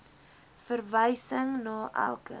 verwysing na elke